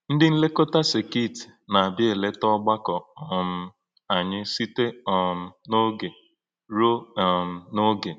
Ǹdị̀ nlékọ̄tà sèkit nā-ābịā èlè̄tà ọ̀gbàkọ̀́ um ānyị̄ sī̄tè um n’ọ̀gé̄ rúò̄ um n’ọ̀gé̄.